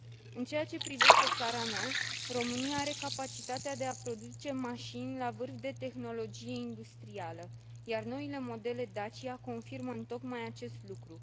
În ceea ce privește țara mea, România are capacitatea de a produce mașini la o tehnologie industrială de vârf, iar noile modele Dacia confirmă întocmai acest lucru.